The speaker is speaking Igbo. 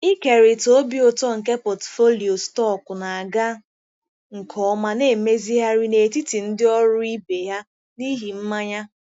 Ịkerịta obi ụtọ nke pọtụfoliyo stọkụ na-aga nke ọma na-emezigharị n'etiti ndị ọrụ ibe ya n'ihi mmanya.